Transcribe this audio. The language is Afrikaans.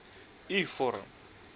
u vorm